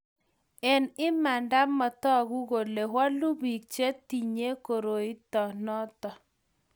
eng' imanda' matoku kole wolu biik che tinyei koroito noto